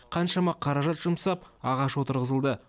қаншама қаражат жұмсап ағаш отырғызылды